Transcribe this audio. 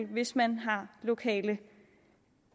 hvis man har lokale